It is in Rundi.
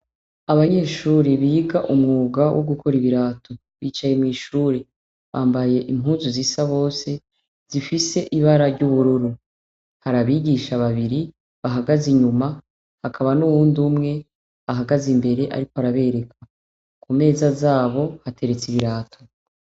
Abanyeshure biga umwuga wo gukora ibirato bicaye mwishure bambaye impuzu zisa bose zifise ibara ryubururu hari abigisha babiri bahagaze inyuma hakaba nuwundi umwe ahagaze imbere ariko arabereka kumeza zabo hateretse ibirato